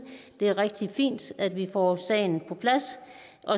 det er rigtig fint at vi får sagen på plads